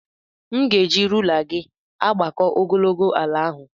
M ga-eji rula gị agbakọ ogologo ala ahụ.